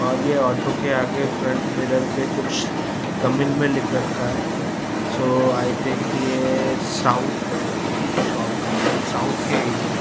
और ये ऑटो के आगे फ्रंट मिरर पे कुछ तमिल में लिख रखा है सो आई थिंक ये साउथ की शॉप है साउथ के एरिया है।